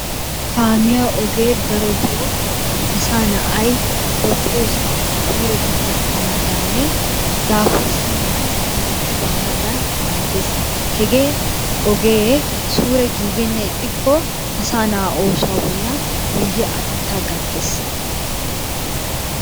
Kaamiya ogee darotoo asaa na'ayi ba biyosaa suure bi gakkanaadaaninne daafurssennan hallixxi baanaadan maaddes. Hegee ogee suure giigenna ixxikko asaa na'aa oosuwa bollan guyye atettaa gattes.